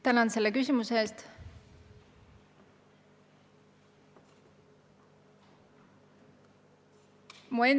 Tänan selle küsimuse eest!